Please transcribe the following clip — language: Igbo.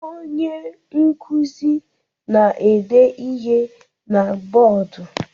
Onye nkuzi na-ede ihe na bọdụ.